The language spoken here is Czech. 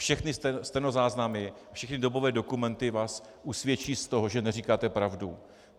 Všechny stenozáznamy, všechny dobové dokumenty vás usvědčí z toho, že neříkáte pravdu.